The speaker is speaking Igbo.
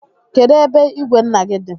Kedụ ebe ìgwè nna gị dị?